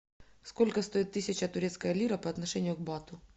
сколько стоит тысяча турецкая лира по отношению к бату